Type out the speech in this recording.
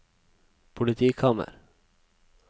politikammer